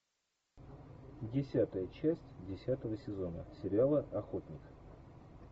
десятая часть десятого сезона сериала охотник